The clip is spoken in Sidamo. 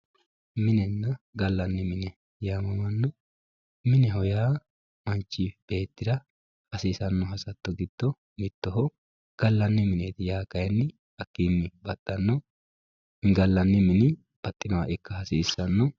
Minenna gallanni mine yamamanna ,mineho yaa manchi beettira hasiisano hasatto giddo mittoho gallani mineti yaa kayinni hakkini baxxano ,gallanni mini baxxinoha ikka hasiisano.